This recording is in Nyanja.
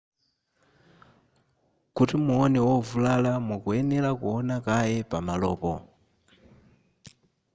kuti muone wovulala mukuyenera kuona kaye pamalopo